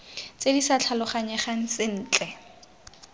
tse di sa tlhaloganyegang sentle